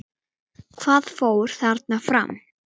Hvað fór þarna fram?